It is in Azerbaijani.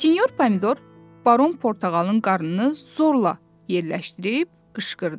Sinyor pomidor baron portağalın qarnını zorla yerləşdirib qışqırdı.